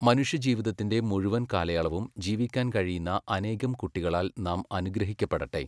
മനുഷ്യജീവിതത്തിന്റെ മുഴുവൻ കാലയളവും ജീവിക്കാൻ കഴിയുന്ന അനേകം കുട്ടികളാൽ നാം അനുഗ്രഹിക്കപ്പെടട്ടെ!